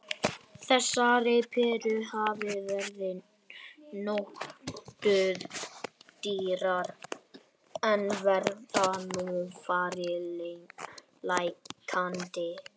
Þessar perur hafa verið nokkuð dýrar en virðast nú fara lækkandi.